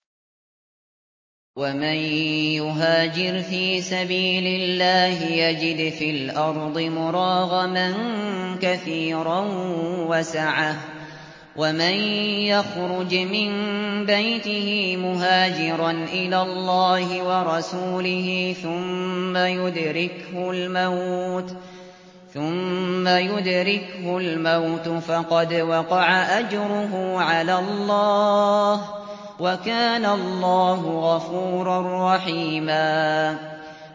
۞ وَمَن يُهَاجِرْ فِي سَبِيلِ اللَّهِ يَجِدْ فِي الْأَرْضِ مُرَاغَمًا كَثِيرًا وَسَعَةً ۚ وَمَن يَخْرُجْ مِن بَيْتِهِ مُهَاجِرًا إِلَى اللَّهِ وَرَسُولِهِ ثُمَّ يُدْرِكْهُ الْمَوْتُ فَقَدْ وَقَعَ أَجْرُهُ عَلَى اللَّهِ ۗ وَكَانَ اللَّهُ غَفُورًا رَّحِيمًا